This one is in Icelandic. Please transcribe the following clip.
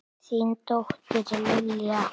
Þín dóttir, Lilja.